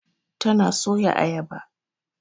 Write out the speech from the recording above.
Tana soya Ayaba.